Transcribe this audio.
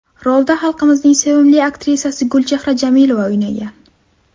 Rolda xalqimizning sevimli aktrisasi Gulchehra Jamilova o‘ynagan.